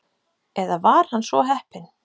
Eða var hann svo heppinn?